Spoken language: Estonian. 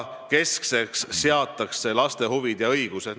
Keskseks seatakse laste huvid ja õigused.